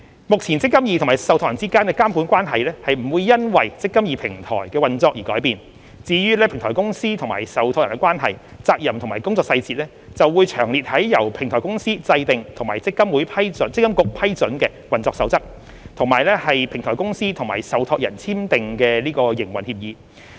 目前積金局與受託人之間的監管關係並不會因"積金易"平台的運作而改變，至於平台公司與受託人的關係、責任和工作細節，則會詳列於由平台公司制訂及積金局批准的運作守則，以及平台公司與受託人簽訂的營運協議。